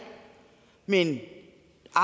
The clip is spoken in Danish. vil i det